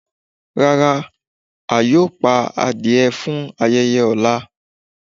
Rárá, à yọ̀ pá àdìẹ̀ fún ayẹyẹ ọ̀lá.